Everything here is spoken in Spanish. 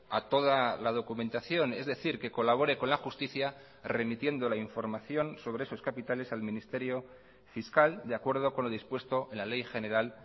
a toda la documentación es decir que colabore con la justicia remitiendo la información sobre esos capitales al ministerio fiscal de acuerdo con lo dispuesto en la ley general